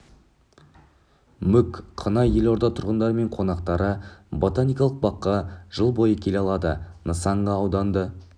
мүк қына елорда тұрғындары мен қонақтары ботаникалық баққа жыл бойы келе алады нысан га ауданда